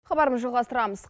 хабарымыз жалғастырамыз